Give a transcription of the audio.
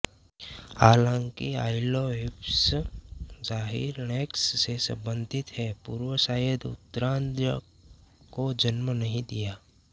हालांकि पाइलोहिप्पस जाहिर ऐकव्स से संबंधित है पूर्व शायद उत्तरार्द्ध को जन्म नहीं दिया